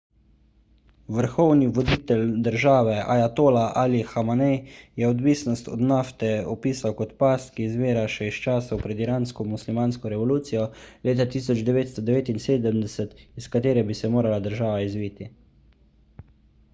vrhovni voditelj države ajatola ali hamenej je odvisnost od nafte opisal kot past ki izvira še iz časov pred iransko muslimansko revolucijo leta 1979 iz katere bi se morala država izviti